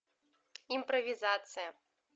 импровизация